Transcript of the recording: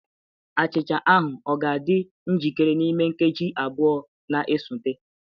Achịcha ahụ ọ ga-adị njikere n'ime nkeji abụọ na-esote?